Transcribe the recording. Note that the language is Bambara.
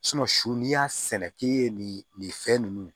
su n'i y'a sɛnɛ k'i ye nin nin fɛn nunnu